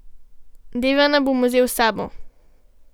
Devana bom vzel s sabo.